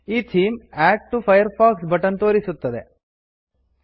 ಈ theme add to Firefox add to Firefox button ತೋರಿಸುತ್ತದೆ